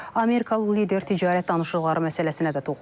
Amerikalı lider ticarət danışıqları məsələsinə də toxunub.